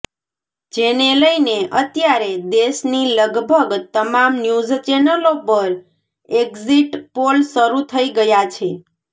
જેને લઇને અત્યારે દેશની લગભગ તમામ ન્યૂઝ ચેનલો પર એક્ઝિટ પોલ શરૂ થઇ ગયા છે